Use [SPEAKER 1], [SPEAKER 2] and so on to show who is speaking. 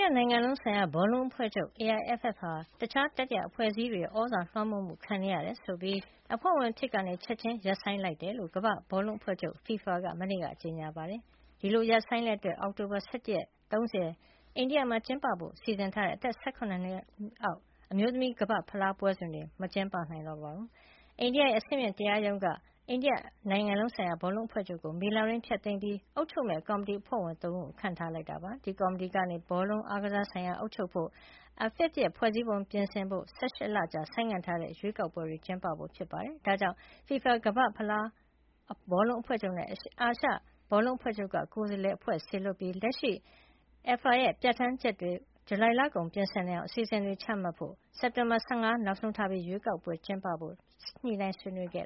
[SPEAKER 1] ယနိုင်ငံလုံးဆိုင်ရာ ဘောလုံးအဖွဲ့ချုပ် (AIFF) ဟာ တခြား တတိယအဖွဲ့အစည်းတွေရဲ့ သြဇာလွှမ်းမိုးမှု ခံနေရတယ်ဆိုပြီး အဖွဲ့ဝင်အဖြစ်က ချက်ခြင်းရပ်ဆိုင်းလိုက်တဲ့အကြောင်း ကမ္ဘာ့ဘော့လုံး အဖွဲ့ချုပ် FIFA က မနေ့က ကြေညာပါတယ်။ ဒီလို ရပ်ဆိုင်းလိုက်တဲ့အတွက် အောက်တိုဘာလ ၁၁ ရက်နေ့ကအထိ ၃၀ ရက်နေ့အထိ အိန္ဒိယမှာ ကျင်းပဖို့ စီစဉ်ထားတဲ့ အသက် ၁၇ နှစ်အောက် အမျိုးသမီး ကမ္ဘာ့ဖလား ပွဲစဉ်တွေ ကျင်းပနိုင်တော့မှာ မဟုတ်ပါဘူး။ အိန္ဒိယနိုင်ငံရဲ့ အဆင့်မြင့်တရားရုံးက AIFF အိန္ဒိယနိုင်ငံလုံးဆိုင်ရာဘောလုံးအဖွဲ့ချုပ်ကို မေလအတွင်း ဖျက်သိမ်းပြီး အုပ်ချုပ်မယ့် ကော်မတီအဖွဲ့ဝင် ၃ ဦးကို ခန့်ထားလိုက်ပါတယ်။ ဒီကော်မတီကနေ ဘောလုံးအားကစားဆိုင်ရာ အုပ်ချုပ်ဖို့၊ AIFF ရဲ့ ဖွဲ့စည်းပုံကို ပြင်ဆင်ဖို့၊ ၁၈ လကြာ ဆိုင်းငံထားတဲ့ ရွေးကောက်ပွဲ ကျင်းပဖို့ ဖြစ်ပါတယ်။ ဒါကြောင့်လည်း FIFA ကမ္ဘာ့ဖလားဘောလုံးအဖွဲ့ချုပ်နဲ့ အာရှ ဘောလုံးအဖွဲ့ချုပ်က ကိုယ်စားလှယ်အဖွဲ့တဖွဲ့ စေလွှတ်ပြီး လက်ရှိ AIFF ရဲ့ ဥပဒေပြဌာန်းချက်တွေ ဂျူလိုင်လကုန်မှာပြင်ဆင်နိုင်အောင် အစီစဉ်တွေချမှတ်ဖို့အပြင် စက်တင်ဘာ ၁၅ ရက် နောက်ဆုံးထားပြီး ရွေးကောက်ပွဲ
[SPEAKER 2] ကျင်းပဖို့ပါ AIFF နဲ့ ဆွေးနွေးခဲ့